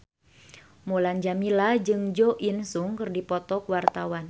Mulan Jameela jeung Jo In Sung keur dipoto ku wartawan